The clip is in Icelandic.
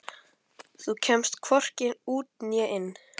Þú kemst hvorki út né inn.